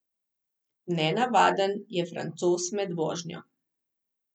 Nenavaden je francoz med vožnjo.